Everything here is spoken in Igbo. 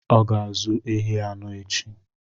Ọ ga-azụ ehi anọ echi.